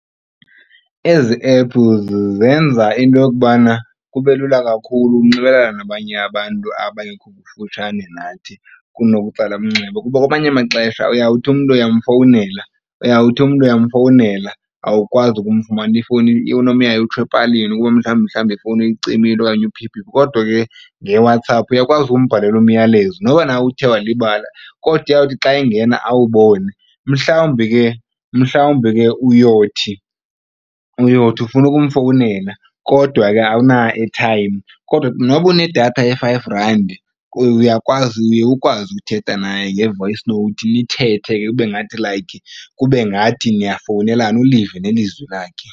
Ezi ephu zenza into yokubana kube lula kakhulu ukunxibelelana nabanye abantu abengekho kufutshane nathi kunokutsala umnxeba. Kuba kwamanye amaxesha uyawuthi umntu uyamfowunela, uyawuthi umntu uyamfowunela awukwazi ukumfumana ifowuni unomyayi utsho epalini kuba mhlawumbi mhlawumbi ifowuni uyicimile okanye uphi phi. Kodwa ke ngeWhatsApp uyakwazi ukumbhalela umyalezo noba na uthe walibala kodwa uyawuthi xa engena awubone. Mhlawumbi ke mhlawumbi ke uyothi, uyothi ufuna ukumfowunela kodwa ke awuna-airtime kodwa noba unedatha ye-five randi uyakwazi uye ukwazi ukuthetha naye nge-voice note nithethe ke kube ngathi like kube ngathi niyafowunelana ulive nelizwi lakhe.